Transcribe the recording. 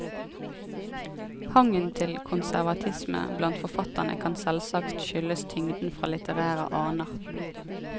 Hangen til konservatisme blant forfatterne kan selvsagt skyldes tyngden fra litterære aner.